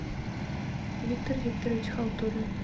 виктор викторович халтурин